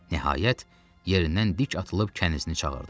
Nəhayət, yerindən dik atılıb kənizini çağırdı.